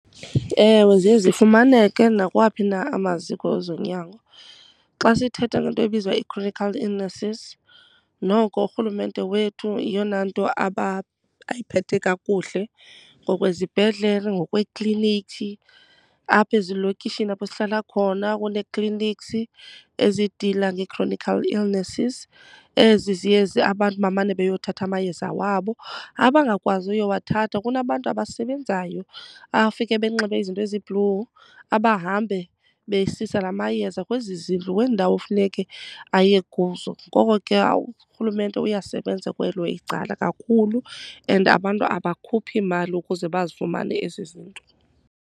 Ewe, ziye zifumaneke nakwawaphi na amaziko ezonyango. Xa sithetha le nto ebizwa ii-chronic illnesses noko uRhulumente wethu yeyona nto ayiphethe kakuhle ngokwezibhedlele, ngokweeklinikhi. Apha ezilokishini apho sihlala khona kunee-clinics ezidila nge-chronic illnesses, ezi ziye abantu bamane beyothatha amayeza wabo. Abangakwazi uyowathatha kunabantu abasebenzayo abafike benxibe izinto ezi-blue abahambe besisa la mayeza kwezi zindlu, kwezi ndawo kufuneke aye kuzo. Ngoko ke uRhulumente uyasebenza kwelo icala kakhulu and abantu abakhuphi mali ukuze bazifumane ezo zinto.